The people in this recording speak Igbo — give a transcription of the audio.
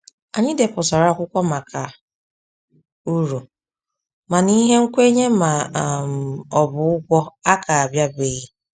Anyị depụtara akwụkwọ maka uru, mana ihe nkwenye ma um ọ bụ ụgwọ a ka bịabeghị.